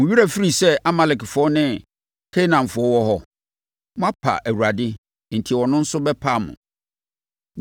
Mo werɛ afiri sɛ Amalekfoɔ ne Kanaanfoɔ wɔ hɔ? Moapa Awurade enti ɔno nso bɛpa mo.”